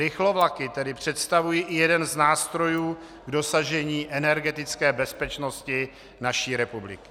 Rychlovlaky tedy představují i jeden z nástrojů k dosažení energetické bezpečnosti naší republiky.